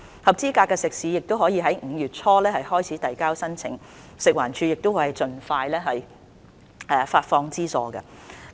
合資格的食肆可在5月初開始遞交申請，食物環境衞生署會盡快發放資助。